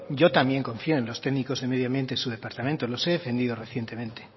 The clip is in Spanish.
yo también confío en los técnicos de medio ambiente de su departamento los he defendido recientemente